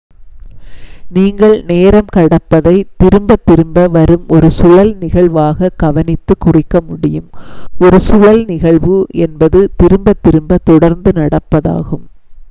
நீங்கள் நேரம் கடப்பதை திரும்பத் திரும்ப வரும் ஒரு சுழல் நிகழ்வாக கவனித்து குறிக்க முடியும் ஒரு சுழல் நிகழ்வு என்பது திரும்பத் திரும்ப தொடர்ந்து நடப்பதாகும்